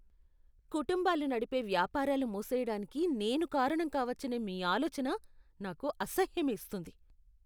కుటుంబాలు నడిపే వ్యాపారాలు మూసెయ్యడానికి నేను కారణం కావచ్చనే మీ ఆలోచన నాకు అసహ్యమేస్తుంది.